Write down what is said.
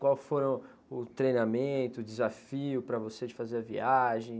Qual foram, o treinamento, o desafio para você de fazer a viagem?